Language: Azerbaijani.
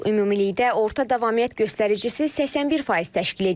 Ümumilikdə orta davamiyyət göstəricisi 81% təşkil edir.